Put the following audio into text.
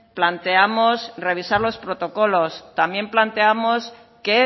planteamos revisar los protocolos también planteamos que